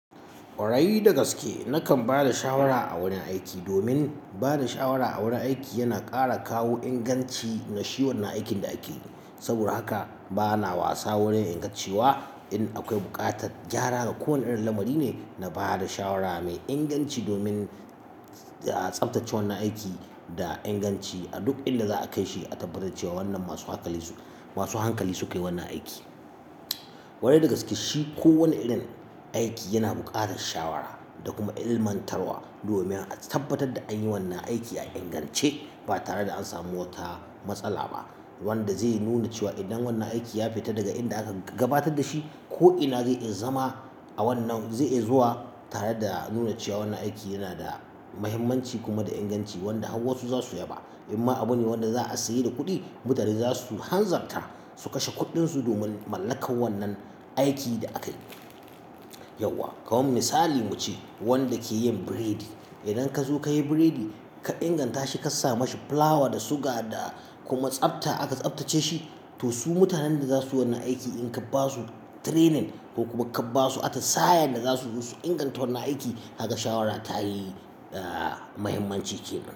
Kware da gaske nakan ba da shawara a wurin aiki, domin ba da shawara a wurin aiki yana ƙara kawo inganci na shi wannan aikin da ake. Saboda haka bana wasa wurin ingantciwa in akwai buƙatar gyara ga kowane irin lamari ne na ba da shawara mai inganci domin a tsabtace wannan aiki da inganci a duk inda za a kai shi, a tabbatar cewa wannan masu hankali, masu hankali suke wannan aiki. Kware da gaske shi kowane irin aiki yana buƙatar shawara da kuma ilmantarwa domin a tabbatar da an yi wannan aiki a ingance ba tare da an sami wata matsala ba, wanda zai nuna cewa idan wannan aiki ya fita daga inda aka gabatar da shi ko ina zai zama a wannan zai iya zuwa tare da nuna cewa wannan aiki yana da muhimmanci kuma da inganci wanda har wasu za su yaba. In ma abune wanda za a sayi da kuɗi, mutane za su hanzarta su kashe kuɗinsu domin mallakar wannan aikin da aka yi. Yauwa, kawo misali muce wanda ke yin biredi. Idan ka zo ka yi biredi ka inganta shi ka sa mashi fulawa da suga da kuma tsafta aka tsaftace shi, to su mutanen da za su yi wannan aiki in ka ba su training ko kuma ka ba su atsa'a yanda za su yi su inganta wannan aiki, haka shawara ta yi, ah, muhimmanci ke nan.